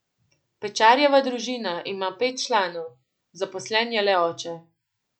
Pečarjeva družina ima pet članov, zaposlen je le oče.